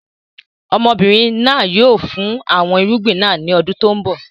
Ọmọbìnrin náà yìí ó fin àwọn irúgbìn náà ńi ọdún tòun bọ̀